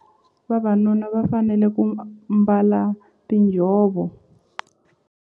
Vavanuna va fanele ku mbala tinjhovo.